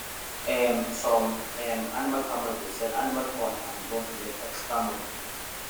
um some um animal farmers dey sell animal horn and bone to make extra money